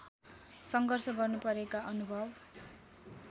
सङ्घर्ष गर्नुपरेका अनुभव